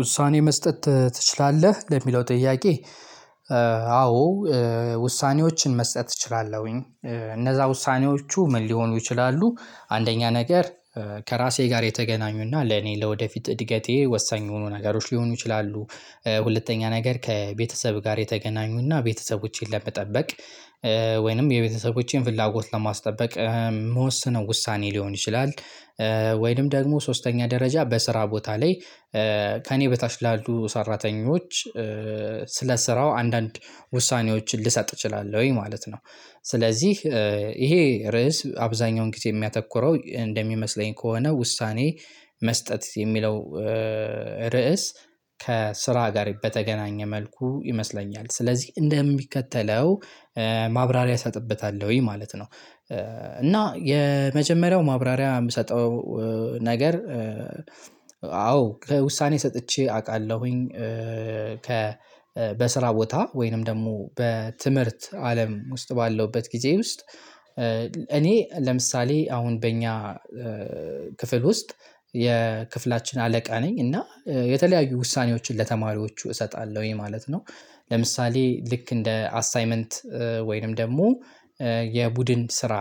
ውሳኔ መስጠት ትችላለህ ለሚለው ጥያቄ? አዎ ውሳኔዎችን መስጠት እችላለሁኝ። እነዛ ውሳኔዎቹ ምን ሊሆኑ ይችላሉ አንደኛ ነገር ከራሴ ጋር የተገናኙና ለኔ ለወደፊት እድገቴ ወሳኝ የሆኑ ነገሮች ሊሆኑ ይችላሉ። ሁለተኛ ነገር ከቤተሰብ ጋር የተገናኙና ቤተሰቦቼን ለመጠበቅ ወይንም የቤተሰቦቼን ፍላጎት ለማስጠበቅ የምወሰነው ውሳኔ ሊሆን ይችላል። ወይንም ደግሞ ሶስተኛ ደረጃ በስራ ቦታ ላይ ከእኔ በታች ላሉ ሰራተኞች ስለ ስራው አንዳንድ ውሳኔዎችን ልሰጥ እችላለሁኝ ማለት ነው። ስለዚህ ይሄ ርዕስ አብዛኛውን ጊዜ የሚያተኩረው እንደሚመስለኝ ከሆነ ውሳኔ መስጠት የሚለው ርዕስ ከስራ ጋር በተገናኘ መልኩ ይመስለኛል ስለዚህ እንደሚከተለው ማብራሪያ እሰጥብታለሁኝ ማለት ነው። እና የመጀመሪያው ማብራሪያ የምሰጠው ነገር አዎ ከውሳኔ ሰጥቼ አውቃለሁኝ ከ በስራ ቦታ ወይንም ደግሞ በትምህርት አለም ውስጥ ባለሁበት ጊዜ ውስጥ እኔ ለምሳሌ አሁን በእኛ ክፍል ውስጥ የክፍላችን አለቃ ነኝ እና የተለያዩ ውሳኔዎችን ለተማሪዎቹ እሰጣለሁኝ ማለት ነው። ለምሳሌ ልክ እንደ አሳይመንት ወይንም ደግሞ የቡድን ስራ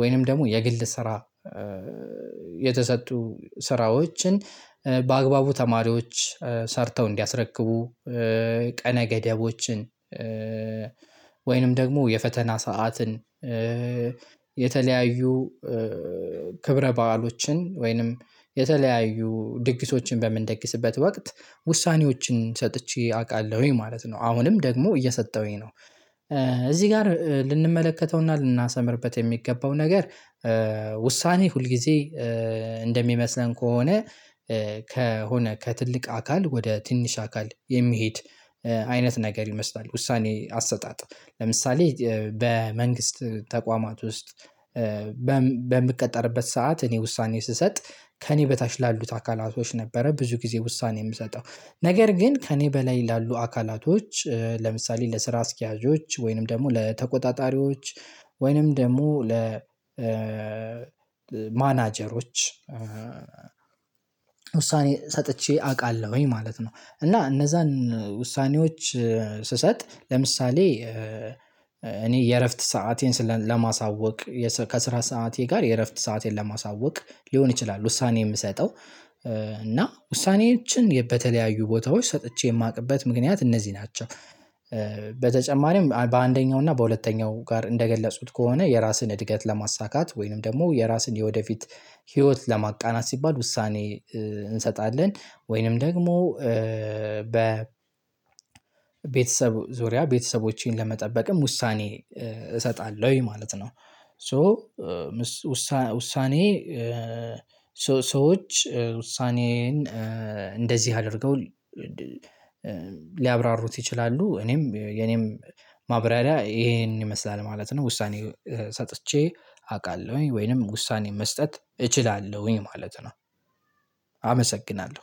ወይንም ደግሞ የግል ስራ የተሰጡ ስራዎችን በአግባቡ ተማሪዎች ሰርተው እንዲያስረክቡ ቀነ ገደቦችን ወይንም ደግሞ የፈተና ሰዓትን የተለያዩ ክብረ ባዕሎችን ወይንም የተለያዩ ድግሶችን በምንደግስበት ወቅት ውሳኔዎችን ሰጥቼ አውቃለሁኝ ማለት ነው አሁንም ደግሞ እየሰጠሁኝ ነው። እዚህ ጋር ልንመለከተውና ልናሰምርበት የሚገባው ነገር ውሳኔ ሁል ጊዜ እንደሚመስለን ከሆነ ከሆነ ከትልቅ አካል ወደ ትንሽ አካል የሚሄድ አይነት ነገር ይመስላል ውሳኔ አሰጣጥ ለምሳሌ በመንግስት ተቋማት ውስጥ በምቀጠርበት ሰዓት እኔ ውሳኔ ስሰጥ ከእኔ በታች ላሉት አካላቶች ነበረ ብዙ ጊዜ ውሳኔ የምሰጠው ነገር ግን ከእኔ በላይ ላሉ አካላቶች ለምሳሌ ለስራ አስኪያጆች ወይንም ደግሞ ለተቆጣጣሪዎች ወይንም ደግሞ ለ ማናጀሮች ውሳኔ ሰጥቼ አውቃለሁኝ ማለት ነው። እና እነዛን ውሳኔዎች ስሰጥ ለምሳሌ እኔ የእረፍት ሰአቴን ለማሳወቅ ከስራ ሰዓቴ ጋር የእረፍት ሰአቴን ለማሳወቅ ሊሆን ይችላል ውሳኔ የምሰጠው እና ውሳኔዎችን በተለያዩ ቦታዎች ሰጥቼ የማውቅበት ምክንያት እነዚህ ናቸው። በተጨማሪም በአንደኛው እና በሁለተኛው ጋር እንደገለጹት ከሆነ የራስን እድገት ለማሳካት ወይንም ደግሞ የራስን የወደፊት ህይወት ለማቃናት ሲባል ውሳኔ እንሰጣለን ወይንም ደግሞ በ ቤተሰብ ዙሪያ ቤተሰቦቼን ለመጠበቅም ውሳኔ እሰጣለሁኝ ማለት ነው። ሶ ውሳኔ ሰዎች ውሳኔን እንደዚህ አድርገው ሊያብራሩት ይችላሉ እኔም የኔም ማብራሪያ ይሄንን ይመስላል ማለት ነው። ውሳኔ ሰጥቼ አውቃለሁኝ ወይንም ውሳኔ መስጠት እችላለሁኝ ማለት ነው። አመሰግናለሁ